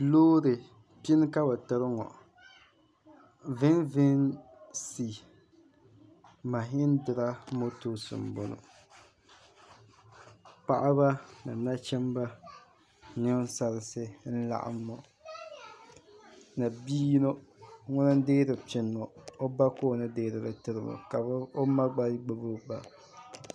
Loori pini ka bɛ tiri ŋɔ VVC Mahindra motors m-bɔŋɔ paɣaba ni nachimba ni ninsarinsi n-laɣim ŋɔ ni bi’ yino ŋuna n-deeri pini ŋɔ o ba ka o ni deeri li n-tiri ŋɔ ka o ma gba gbibi o ba